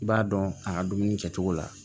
I b'a dɔn a ka dumuni kɛcogo la